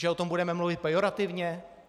Že o tom budeme mluvit pejorativně?